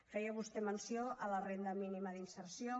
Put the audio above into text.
feia vostè menció de la renda mínima d’inserció